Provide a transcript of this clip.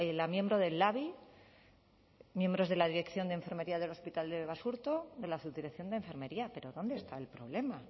la miembro del labi miembros de la dirección de enfermería del hospital de basurto de la subdirección de enfermería pero dónde está el problema